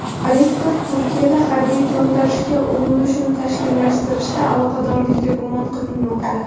Rektor Turkiyada harbiy to‘ntarishga urinishni tashkillashtirishda aloqadorlikda gumon qilinmoqda.